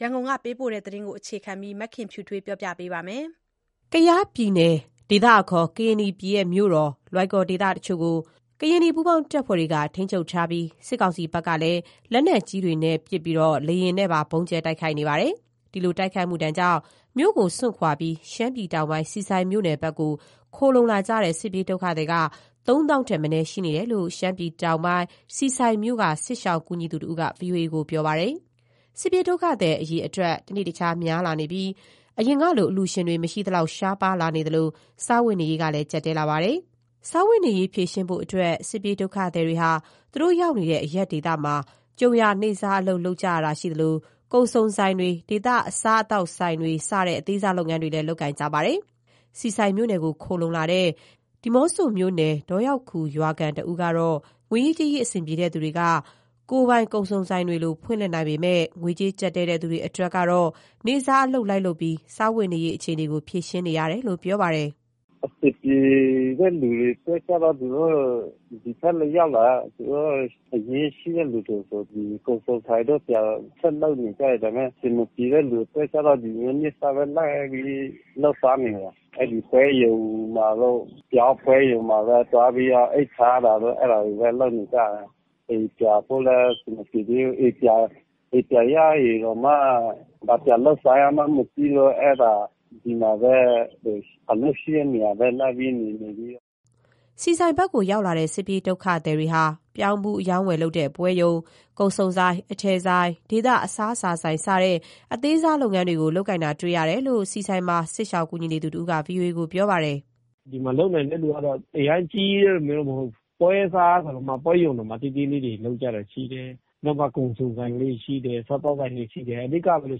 ရန်ကုန်ကပေးပို့လာတဲ့ သတင်းကို အခြေခံပြီး မခင်ဖြူထွေးက တင်ပြပေးထားပါတယ်။ ကယားပြည်နယ်၊ ဒေသအခေါ် ကရင်နီပြည်နယ် မြို့တော် လွိုင်ကော်ဒေသ တချို့ကို ကရင်နီပူးပေါင်းတပ်တွေက ထိန်းချုပ်ထားပြီး စစ်ကောင်စီဘက်ကလည်း လက်နက်ကြီးတွေနဲ့ ပစ်၊ လေယာဉ်နဲ့လည်း ဗုံးကြဲ တိုက်ခိုက်နေတာပါ။ ဒီလို တိုက်ခိုက်မှုဒဏ်ကြောင့် မြို့ကို စွန့်ခွာပြီး ရှမ်းပြည်တောင်ပိုင်း ဆီဆိုင်မြို့နယ်ဘက်ကို ခိုလှုံလာတဲ့ စစ်ပြေးဒုက္ခသည်က သုံးသောင်းထက်မနည်းရှိနေတယ်လို့ ရှမ်းပြည်တောင်ပိုင်း ဆီဆိုင်မြို့က စစ်ရှောင်ကူညီသူတဦးက ဗွီအိုအေကို ပြောပါတယ်။ စစ်ပြေးဒုက္ခသည် အရေအတွက်လည်း တနေ့တခြား များလာနေပြီး အရင်ကလို အလှူရှင်တွေ မရှိသလောက် နည်းပါးလာသလို စားဝတ်နေရေးလည်း ကျပ်တည်းလာကြပါတယ်။ စားဝတ်နေရေး ဖြေရှင်းဖို့အတွက် စစ်ပြေးဒုက္ခသည်တွေက သူတို့ရောက်ရှိတဲ့ အရပ်ဒေသမှာ ကြုံရာနေ့စားအလုပ် လုပ်ကြတာ၊ ကုန်စုံဆိုင်တွေ ဒေသအစားအသောက်ဆိုင်တွေ စတဲ့ အသေးစားလုပ်ငန်းတွေ လုပ်ကိုင်လာကြပါတယ်။ ဆီဆိုင်မြို့နယ်ကို ခိုလှုံလာတဲ့ ဒီးမော့ဆိုမြို့နယ် ဒေါရောက်ခူရွာခံ တစ်ဦးက ငွေရေးကြေးရေး အဆင်ပြေတဲ့သူတွေက ကိုယ်ပိုင်ကုန်စုံဆိုင်တွေလို ဖွင့်လှစ်နိုင်ပေမဲ့ ငွေကြေးကျပ်တည်းတဲ့သူတွေကတော့ နေ့စားအလုပ် လိုက်လုပ်ပြီး စားဝတ်နေရေးအခြေအနေကို ဖြေရှင်းနေရတယ်လို့ ပြောပါတယ်။ “အဆင်ပြေတဲ့လူတွေကျတော့ သူတို့ ဒီဘက်ရောက်လာလည်း အရင်းအနှီးရှိတဲ့လူဆို ဒီကုန်စုံဆိုင်တို့ ဆက်လုပ်နေကြတယ်။ ဒါပေမယ့် အဆင်မပြေတဲ့လူအတွက်ကျတော့ နေ့စားပဲလိုက်ပြီး လုပ်စားနေတယ်။ အဲ့ဒီပွဲရုံတို့ ပြောင်းပွဲရုံမှာတို့ သွားပြီးတော့ အိတ်ဖာတာတို့ အဲ့ဒါတွေပဲလုပ်နေကြတယ်။ အိမ်ပြန်ဖို့လည်း အဆင်မပြေသေးဘူး။ အိမ်ပြန်ရရင်တောင်မှ ဘာပြန်လုပ်စားရမှန်းမသိဘူး အဲ့ဒါ ဒီမှာပဲ အလုပ်ရှိတဲ့နေရာပဲ လိုက်ပြီးနေနေတယ်။” ဆီဆိုင်ဘက်ကို ရောက်လာတဲ့ စစ်ပြေးဒုက္ခသည်တွေဟာ ပြောင်းဖူးအရောင်းအဝယ်ပွဲရုံ၊ ကုန်စုံဆိုင်၊ အထည်ဆိုင်၊ ဒေသအစားအစာဆိုင်စတဲ့ အသေးစားလုပ်ငန်းတွေ လုပ်ကိုင်နေကြတာတွေ့ရတယ်လို့ ဆီဆိုင်မှာ စစ်ရှောင်ကူညီသူတဦးက ဗွီအိုအေကို ပြောပါတယ်။ “ဒီမှာလုပ်နိုင်တဲ့သူကတော့ အရမ်းကြီးကြီးလည်းမဟုတ်ဘူး ပွဲရုံတောင်မှ သေးသေးလေးတွေ လုပ်ကြတာရှိတယ်။ နောက်ပြီးမှ ကုန်စုံဆိုင်လေးတွေရှိတယ် စားသောက်ဆိုင်တွေ ရှိတယ်။ အဓိက ဘယ်လို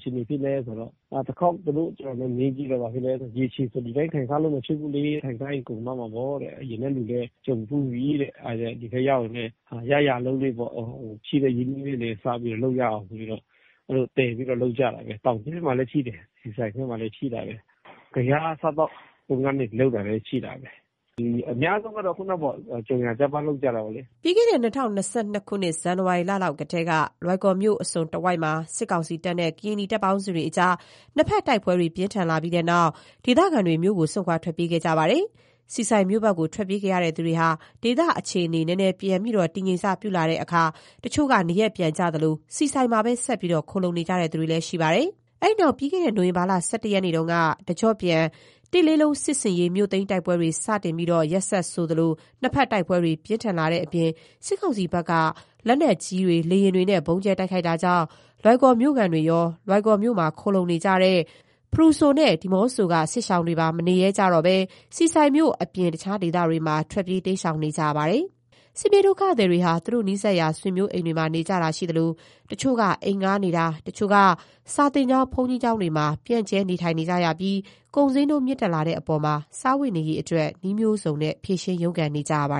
အခြေအနေဖြစ်လဲဆိုတော့ တစ်ခေါက် သူတို့နဲ့ ကြုံတုန်း မေးကြည့်တော့ ဘာဖြစ်လဲဆိုတော့ ရေရှည်ဆို ဒီတိုင်းထိုင်စားလို့ မဖြစ်ဘူးလေ၊ ထိုင်းစားရင်ကုန်သွားမှာပေါ့တဲ့။ အရင်ကလူလည်း ကြုံဖူးပြီတဲ့။ အဲ့ဒါကြောင့် ဒီဘက်ရောက်ရင်လည်း ရရာအလုပ်တွေပေါ့၊ ရှိတဲ့ အရင်းအနှီးလေးနဲ့ စပြီးလုပ်ရအောင်ဆိုပြီး လုပ်ကြတယ်။ တောင်ကြီးမှာလည်း ရှိတယ်၊ ဆီဆိုင်ဖက်မှာလည်း ရှိတာပဲ။ ကယား အစားအသောက်ကုန်တွေ လုပ်တာလည်း ရှိတာပဲ။ ဒီအများစုကတော့ ကြုံရာ ကျပန်းလုပ်ကြတာပဲလေ။” ပြီးခဲ့တဲ့ ၂၀၂၂ ခုနှစ် ဇန်နဝါရီလလောက်ကတည်းက လွိုင်ကော်မြို့အစွန်တဝိုက်မှာ စစ်ကောင်စီတပ်နဲ့ ကရင်နီတပ်ပေါင်းစုတွေအကြား နှစ်ဖက်တိုက်ပွဲ ပြင်းထန်လာပြီးတဲ့နောက် ဒေသခံတွေ မြို့ကို စွန့်ခွာ ထွက်ပြေးခဲ့ကြပါတယ်။ ဆီဆိုင်မြို့ဘက် ထွက်ပြေးသူတွေဟာ ဒေသအခြေအနေ နည်းနည်းပြန်ပြီး တည်ငြိမ်စပြုလာချိန်မှာ တချို့က နေရပ်ပြန်သလို ဆီဆိုင်မှာပဲ ဆက်ပြီး ခိုလှုံနေသူတွေလည်း ရှိနေတာပါ။ အဲ့ဒီနောက် ပြီးခဲ့တဲ့ နိုဝင်ဘာလ ၁၁ ရက်ကတည်းက တကျော့ပြန် ၁၁၁၁ စစ်ဆင်ရေး မြို့သိမ်းတိုက်ပွဲတွေ စတင်ပြီး ရက်ဆက်ဆိုသလို နှစ်ဖက် တိုက်ပွဲတွေ ပြင်းထန်လာတဲ့ အပြင် စစ်ကောင်စီဘက် လက်နက်ကြီးတွေ လေယာဉ်တွေနဲ့ ဗုံးကြဲ တိုက်ခိုက်နေတာကြောင့် လွိုင်ကော်မြို့ခံတွေရော၊ လွိုင်ကော်မြို့မှာ ခိုလှုံနေတဲ့ ဖရူဆို၊ ဒီးမော့ဆို တို့က စစ်ရှောင်တွေပါ မနေရဲကြတော့ပဲ ဆီဆိုင်မြို့အပြင် တခြားဒေသတွေမှာလည်း ထွက်ပြေး တိမ်းရှောင်နေကြရပါတယ်။ စစ်ပြေးဒုက္ခသည်တွေဟာ သူတို့နီးစပ်ရာ ဆွေးမျိုးအိမ်တွေမှာ နေကြသလို တချို့က အိမ်ငှားနေတာအပြင်၊ တချို့က စာသင်ကျောင်း၊ ဘုန်းကြီးကျောင်းတွေမှာ ပြန့်ကျဲ့ နေထိုင်နေကြပြီး ကုန်ဈေးနှုန်း မြင့်တက်လာတဲ့အပေါ် စားဝတ်နေရေးအတွက် နည်းမျိုးစုံဖြေရှင်း ရုန်းကန်နေကြရပါ